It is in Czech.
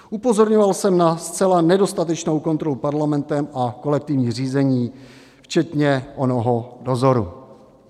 Upozorňoval jsem na zcela nedostatečnou kontrolu Parlamentem a kolektivní řízení, včetně onoho dozoru.